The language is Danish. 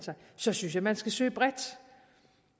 synes jeg man skal søge bredt